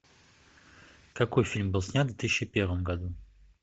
какой фильм был снят в две тысячи первом году